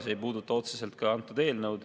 See ei puuduta otseselt seda eelnõu.